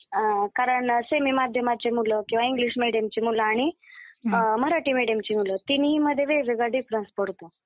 अं, कारण सेमी माध्यमाची मुलं किंवा इंग्लिश मीडियमची मुलं आणि अं आणि मराठी मीडियमची मुलं तिन्हींमध्ये वेगवेगळा डिफ्रन्स पडतो.